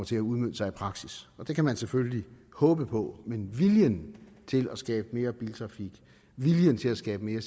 til at udmønte sig i praksis det kan man selvfølgelig håbe på men viljen til at skabe mere biltrafik og viljen til at skabe mere